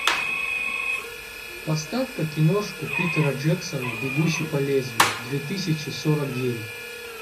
поставь ка киношку питера джексона бегущий по лезвию две тысячи сорок девять